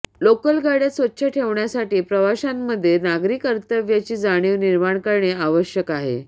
local गाड्या स्वच्छ ठेवण्यासाठी प्रवाशांमध्ये नागरी कर्तव्याची जाणीव निर्माण करणे आवश्यक आहे